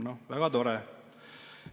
Noh, väga tore.